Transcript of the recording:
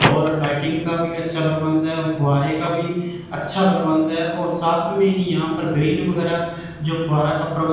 और लाइटिंग का भी अच्छा प्रबंध है फुआरें का भी अच्छा प्रबंध है और साथ में ही यहां पर ग्रीन वगैरह जो फुआरा प्रब --